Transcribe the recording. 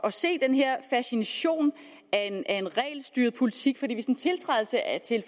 at se den her fascination af en regelstyret politik